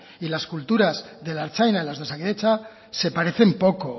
y las culturas de la ertzaintza y las de osakidetza se parecen poco